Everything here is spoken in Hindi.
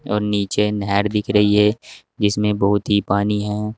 नीचे नहर दिख रही है जिसमें बहुत ही पानी है।